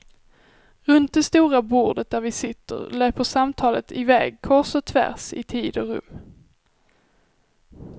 Runt det stora bordet där vi sitter löper samtalet iväg kors och tvärs i tid och rum.